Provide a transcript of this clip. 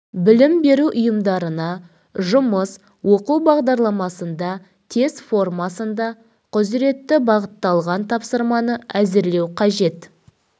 білім беру ұйымдарына жұмыс оқу бағдарламасында тест формасында құзыретті бағытталған тапсырманы әзірлеу қажет